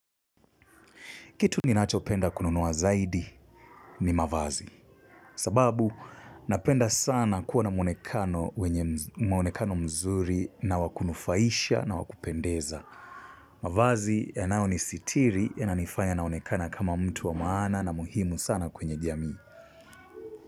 Kitu ninacho penda kununuwa zaidi ni mavazi. Sababu, napenda sana kuwa na mwonekano mzuri na wakunufaisha na wakupendeza. Mavazi yanao nisitiri yana nifanya naonekana kama mtu wa maana na muhimu sana kwenye jamii.